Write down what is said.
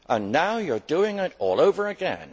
Now you are doing it all over again.